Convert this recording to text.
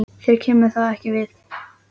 Þér kemur það ekki við.